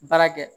Baara kɛ